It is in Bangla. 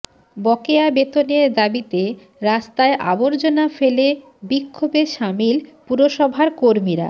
বকেয়া বেতনের দাবিতে রাস্তায় আবর্জনা ফেলে বিক্ষোভে শামিল পুরসভার কর্মীরা